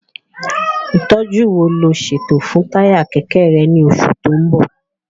Ìtọ́jú wo lò ń ṣètò fún táyà kẹ̀kẹ́ rẹ ní oṣù tó ń bọ̀?